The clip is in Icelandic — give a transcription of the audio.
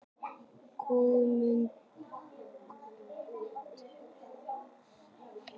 GUÐMUNDUR: Við erum að ausa.